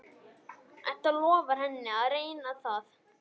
Edda lofar henni að reyna það.